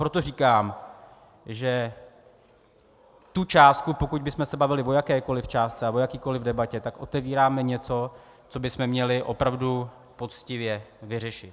Proto říkám, že tu částku, pokud bychom se bavili o jakékoli částce a o jakékoli debatě, tak otevíráme něco, co bychom měli opravdu poctivě vyřešit.